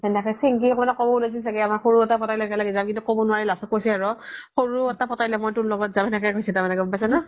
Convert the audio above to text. সেনেকে চিন্কি মানে ক'ব উলাইছিল চাগে last ত কৈছি আৰু সৰো এটা পতাই ল মই তোৰ লগত যাম সেনেকে কৈছে তাৰমানে গ্'ম পাইছা নে